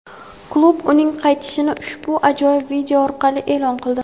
Klub uning qaytishini ushbu ajoyib video orqali e’lon qildi.